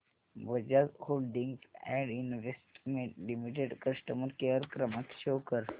Bajaj holdings and investment limited customer care क्रमांक show कर